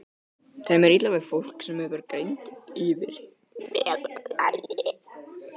Þeim er illa við fólk, sem hefur greind yfir meðallagi.